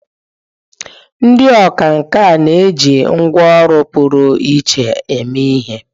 Ndị ọkwá nkà na-eji ngwá ọrụ pụrụ iche eme ihe.